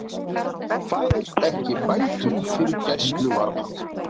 Fær ekki bætur fyrir gæsluvarðhald